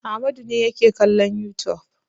Amadu ne yake kallon youtube.